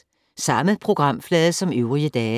Samme programflade som øvrige dage